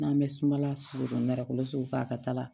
N'an bɛ sumala sogo don nɛrɛ sugu fɛ a ka taa la